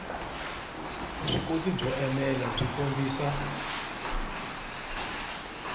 vuswikoti byo enela byi kombisa